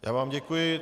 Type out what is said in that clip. Já vám děkuji.